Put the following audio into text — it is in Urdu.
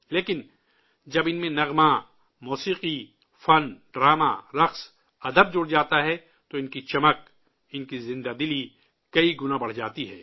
لیکن، جب ان میں گیت موسیقی، آرٹ، رقص و ڈرامہ، ادب جڑ جاتا ہے، تو ان کی شان، ان کی جاودانی، کئی گنا بڑھ جاتی ہے